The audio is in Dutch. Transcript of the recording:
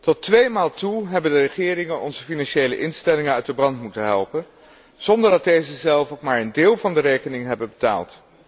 Tot tweemaal toe hebben de regeringen onze financiële instellingen uit de brand moeten helpen, zonder dat deze zelf ook maar een deel van de rekening hebben betaald.